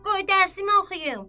Qoy dərsmi oxuyum.